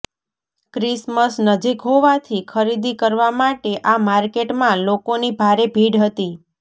Christmas નજીક હોવાથી ખરીદી કરવા માટે આ માર્કેટમાં લોકોની ભારે ભીડ હતી